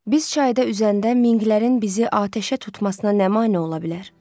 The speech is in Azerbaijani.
Biz çayda üzəndə Minklərin bizi atəşə tutmasına nə mane ola bilər?